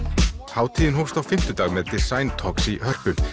hátíðin hófst á fimmtudag með Design talks í Hörpu